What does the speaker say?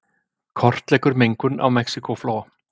Kortleggur mengun á Mexíkóflóa